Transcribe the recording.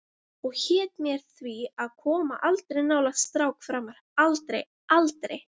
Og hét mér því að koma aldrei nálægt strák framar, aldrei, aldrei.